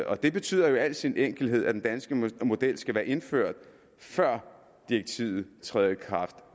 og det betyder jo i al sin enkelhed at den danske model skal være indført før direktivet træder i kraft